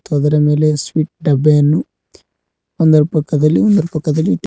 ಒಂದರ ಮೇಲೆ ಸ್ವೀಟ್ ಡಬ್ಬೆಯನ್ನು ಒಂದರ ಪಕ್ಕದಲ್ಲಿ ಒಂದರ ಪಕ್ಕದಲ್ಲಿ ಇಟ್ಟಿ--